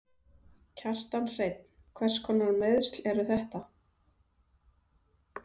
Kjartan Hreinn: Hverskonar meiðsl eru þetta?